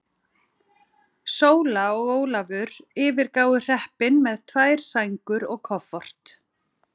Sóla og Ólafur yfirgáfu hreppinn með tvær sængur og koffort.